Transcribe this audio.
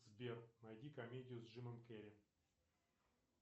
сбер найди комедию с джимом керри